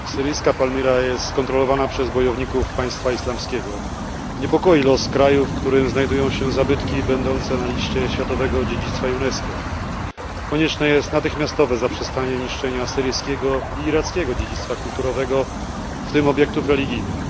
Syryjska Palmira jest kontrolowana przez bojowników państwa islamskiego. Niepokoi los kraju, w którym znajdują się zabytki będące na liście światowego dziedzictwa UNESCO. Konieczne jest natychmiastowe zaprzestanie niszczenia syryjskiego i irackiego dziedzictwa kulturowego, w tym obiektów religijnych.